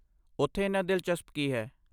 ਉੱਥੇ ਇੰਨਾ ਦਿਲਚਸਪ ਕੀ ਹੈ?